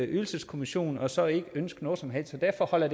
ydelseskommission og så ikke ønske noget som helst og derfor holder